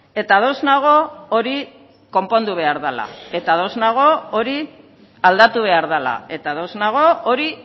eta ados nago hori konpondu behar dela eta ados nago hori aldatu behar dela eta ados nago hori